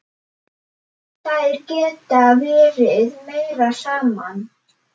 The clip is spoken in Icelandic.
Þær geta verið meira saman.